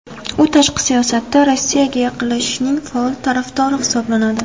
U tashqi siyosatda Rossiyaga yaqinlashishning faol tarafdori hisoblanadi.